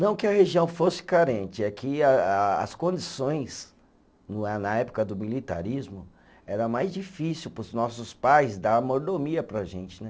Não que a região fosse carente, é que a a as condições, no na época do militarismo, era mais difícil para os nossos pais dar a mordomia para a gente né.